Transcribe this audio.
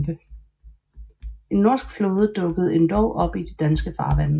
En norsk flåde dukkede endog op i de danske farvande